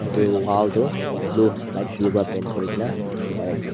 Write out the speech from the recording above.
aru edu wall tu blue light blue pra paint kurina dikhipaiase.